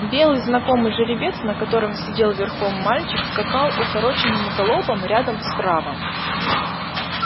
белый знакомый жеребец на котором сидел верхом мальчик скакал укороченным галопом рядом справа